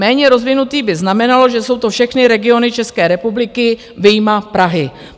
Méně rozvinutý by znamenalo, že jsou to všechny regiony České republiky vyjma Prahy.